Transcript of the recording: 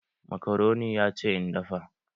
Makaroni ya ce in dafa